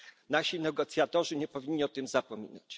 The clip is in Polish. Nasi negocjatorzy nie powinni o tym zapominać.